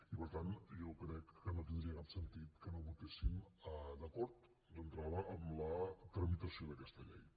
i per tant jo crec que no tindria cap sentit que no votéssim d’acord d’entrada amb la tramitació d’aquesta llei